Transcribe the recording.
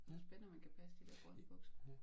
Det spændende om han kan passe de der grønne bukser